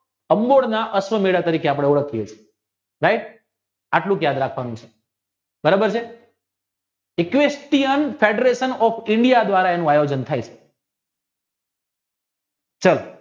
અંબોયના અશ્વ મેલા તરીકે આપણે ઓળખીયે છીએ right આટલું જ યાદ રાખવાનું છે બરોબર છે દ્વારા એનું આયોજન થાય છે ચાલો